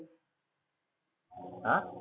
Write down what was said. आह?